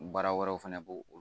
Baara wɛrɛw fɛnɛ b'o